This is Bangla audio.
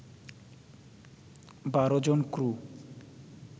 ১২ জন ক্রু